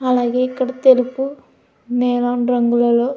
అలాగే ఇక్కడ తెలుపు నీలం రంగులలో--